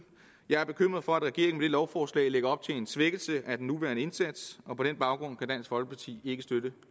jeg er bekymret for at regeringen her lovforslag lægger op til en svækkelse af den nuværende indsats og på den baggrund kan dansk folkeparti ikke støtte